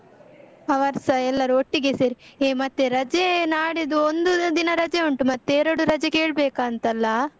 ಅವರ್ಸ ಎಲ್ಲರು ಒಟ್ಟಿಗೆ ಸೇರಿ, ಹೇ ಮತ್ತೆ ರಜೆ ನಾಡಿದ್ದು ಒಂದು ದಿನ ರಜೆ ಉಂಟು, ಮತ್ತೆ ಎರಡು ರಜೆ ಕೇಳ್ಬೇಕಾ ಅಂತಲ್ಲಾ?